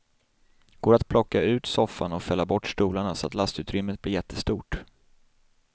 Går att plocka ut soffa och fälla bort stolar så att lastutrymmet blir jättestort.